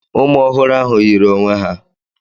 Ụmụ ọhụrụ ahụ yiri onwe ha.